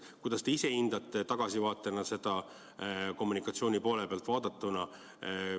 Kuidas te ise hindate tagasivaatena seda kommunikatsiooni poolt?